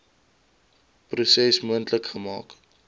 proses moontlik gemaak